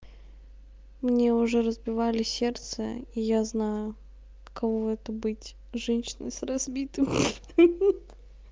мне уже разбивали сердце и я знаю каково это быть женщиной с разбитым хи-хи